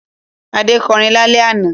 Adé kọrin lálẹ́ àná?